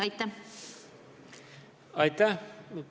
Aitäh!